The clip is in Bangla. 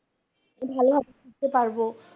ভালোভাবে শিখতে পারবো।